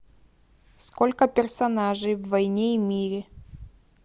сколько персонажей в войне и мире